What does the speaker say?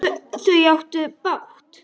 Þau áttu bágt!